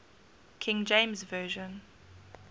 king james version